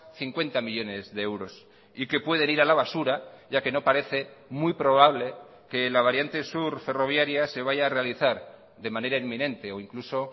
cincuenta millónes de euros y que pueden ir a la basura ya que no parece muy probable que la variante sur ferroviaria se vaya a realizar de manera inminente o incluso